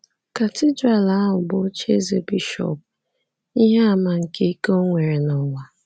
Katidral ahụ bụ ocheeze bishọp, ihe àmà nke ike o nwere n’ụwa.